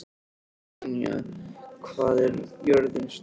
Tanya, hvað er jörðin stór?